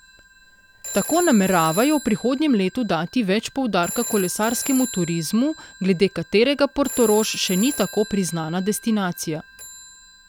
Tako nameravajo v prihodnjem letu dati več poudarka kolesarskemu turizmu, glede katerega Portorož še ni tako priznana destinacija.